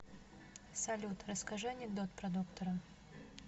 салют расскажи анекдот про доктора